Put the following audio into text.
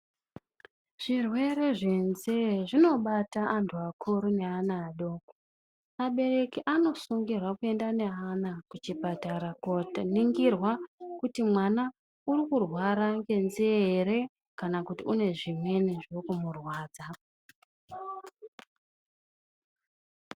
Zvirwere zvenzee zvinobata anthu akuru neana adoko, abereki anosungirwa kuenda neana kuchipatara koningirwa kuti mwana urikurwara ngenzee ere, kana kuti une zvimweni zviri kumurwadza.